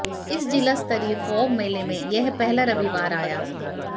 इस जिला स्तरीय फाग मेले में यह पहला रविवार आया